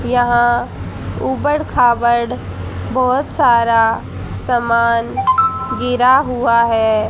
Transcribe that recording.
यहां ऊबड खाबड़ बहोत सारा सामान गिरा हुआ है।